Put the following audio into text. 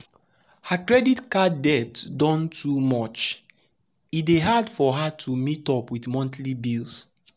her credit card debt don too much e dey hard her to meet up with monthly bills.